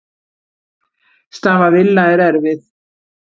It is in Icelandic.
Staða Villa er erfið.